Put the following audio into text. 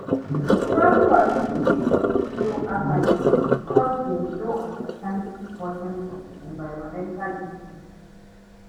Some communities fit show apathy beacuse dem no understand di importance of di environmental issues.